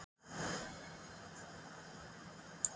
Hún er álfkona.